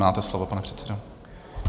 Máte slovo, pane předsedo.